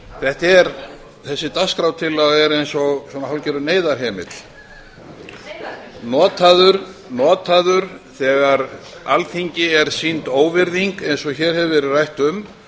þetta er þessi dagskrártillaga er eins og svona hálfgerður neyðarhemill notaður þegar alþingi er sýnd óvirðing eins og hér hefur verið rætt um